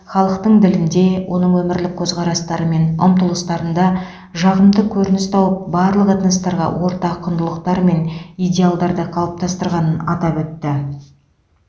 халықтың ділінде оның өмірлік көзқарастары мен ұмтылыстарында жағымды көрініс тауып барлық этностарға ортақ құндылықтар мен идеалдарды қалыптастырғанын атап өтті